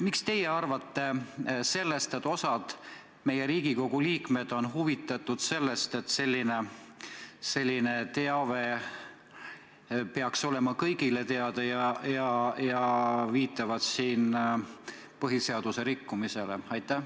Mis teie arvate sellest, et osa meie Riigikogu liikmeid on huvitatud sellest, et selline teave peaks olema kõigile teada, ja viitavad siin põhiseaduse rikkumisele?